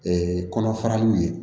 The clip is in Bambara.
Ee kɔnɔ faraliw ye